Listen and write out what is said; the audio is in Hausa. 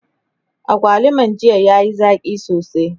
agwaluman jiya yayi Zaki sosai